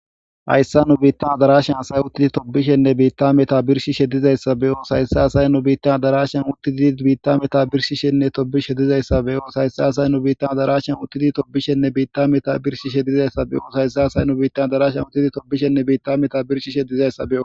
Hayssan nu biitan adarashan asay uttidi tobishenne ta meta birshshishe dizayssa nu biita hadara daassiyan uttidi birshishenne tobishshe dizaayssa be7oos. Hayssa addarashe nu biitan uttidi tobishshenne ta meta birshshishe asa be7oos. Hayssa asay nu biita addarashan uttidi tobbishenne nu biita meta birshshishe dizayssa be7oos.